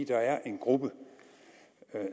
der er en gruppe